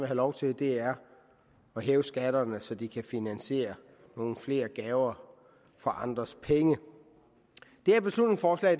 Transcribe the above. lov til er at hæve skatterne så de kan finansiere nogle flere gaver for andres penge det her beslutningsforslag